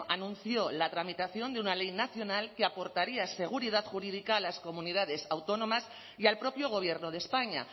anunció la tramitación de una ley nacional que aportaría esa seguridad jurídica a las comunidades autónomas y al propio gobierno de españa